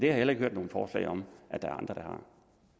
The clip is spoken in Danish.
jeg heller ikke hørt nogen forslag om at andre